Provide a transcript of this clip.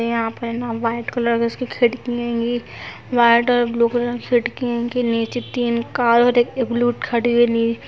यहाँ पर white colour की उसकी खिड़की हैंगी व्हाइट और ब्लू कलर की खिड़की हैंगी नीचे तीन कार और एक ब्लूट खड़ी है नीली --